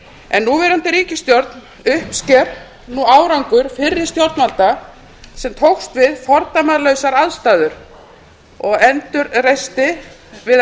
en núverandi ríkisstjórn uppsker nú árangur fyrri stjórnvalda sem tókst á við fordæmalausar aðstæður við að